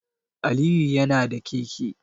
Aliyu yana da keke